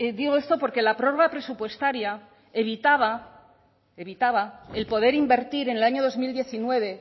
digo esto porque la prórroga presupuestaria evitaba evitaba el poder invertir en el año dos mil diecinueve